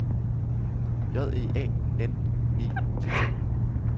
J E A N E T T